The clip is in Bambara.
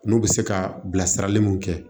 N'u bɛ se ka bilasirali mun kɛ